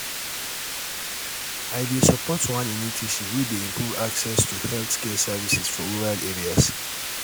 um i dey support one initiative wey dey improve access to um healthcare services for rural areas